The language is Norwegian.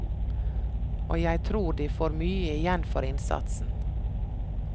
Og jeg tror de får mye igjen for innsatsen.